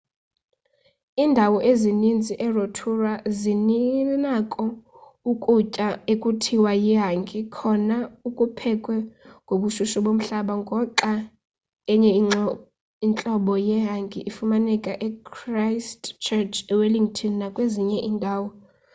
iindawo ezininzi erotorua zinako ukutya ekuthiwa yihangi kona okuphekwe ngobushushu bomhlaba ngoxa enye intlobo yehangi ifumaneka echristchurch ewellington nakwezinye iindawo